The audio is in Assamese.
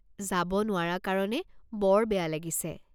যাব নোৱাৰা কাৰণে বৰ বেয়া লাগিছে।